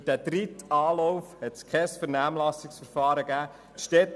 Für diesen dritten Anlauf hat es kein Vernehmlassungsverfahren gegeben.